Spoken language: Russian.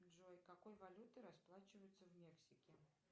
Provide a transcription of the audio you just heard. джой какой валютой расплачиваются в мексике